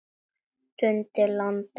Dundi landa!